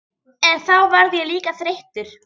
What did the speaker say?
En þá verð ég líka þreyttur.